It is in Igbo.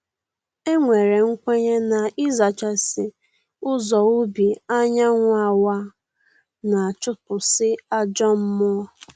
E nwere nkwenye na ịzachasị ụzọ ubi anyanwụ awaa, na-achụpụsị ajọ mmụọ